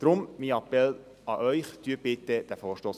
Deshalb mein Appell an Sie: Unterstützen Sie bitte unseren Vorstoss!